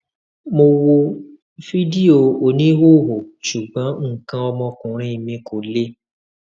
mo wo fídíò oníhòòhò ṣùgbọn nǹkan ọmọkuùnrin mi kò le